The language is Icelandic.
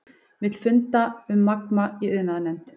Vill fund um Magma í iðnaðarnefnd